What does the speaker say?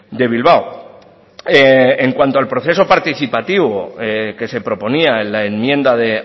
de bilbao en cuanto al proceso participativo que se proponía en la enmienda de